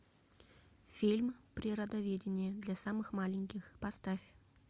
фильм природоведение для самых маленьких поставь